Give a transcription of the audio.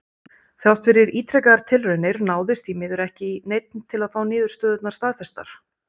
Þrátt fyrir ítrekaðar tilraunir náðist því miður ekki í neinn til að fá niðurstöðurnar staðfestar.